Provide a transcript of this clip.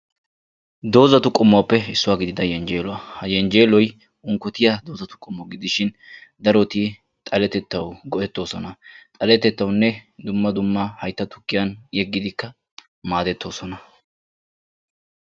Doozzatu qommuwaappe issuwaa gidida yejjeeluwaa. ha yenjjeeloy unkotiyaa dooza qommo gididshin daroti xaletettawu go"ettoosona. xaletettawunne dumma dumma haytta tukkiyaan yeggidi maadettoosona.